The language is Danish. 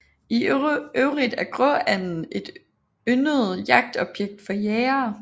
I øvrigt er gråanden et yndet jagtobjekt for jægere